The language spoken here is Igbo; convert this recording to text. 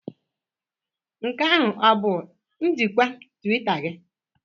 Nke ahụ ọ bụ njikwa Twitter gị?